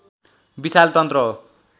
विशाल तन्त्र हो